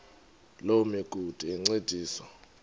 loo migudu encediswa